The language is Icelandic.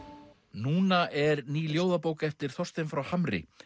núna er ný ljóðabók eftir Þorstein frá Hamri